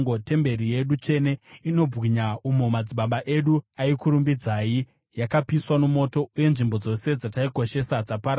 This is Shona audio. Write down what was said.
Temberi yedu tsvene inobwinya, umo madzibaba edu akakurumbidzai, yakapiswa nomoto, uye nzvimbo dzose dzataikoshesa dzaparara.